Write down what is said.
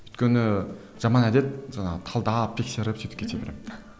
өйткені жаман әдет жаңағы талдап тексеріп сөйтіп кете беремін